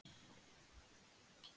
Hverjum vill vera kalt á hálsinum?